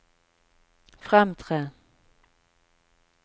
fremtre